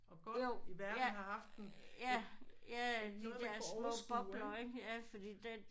Og godt i verden har haft en noget man kunne overskue ik